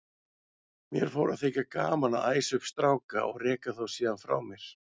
Mér fór að þykja gaman að æsa upp stráka og reka þá síðan frá mér.